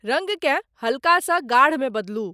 रंगकें हल्का सॅ गाढ़ मे बदलू।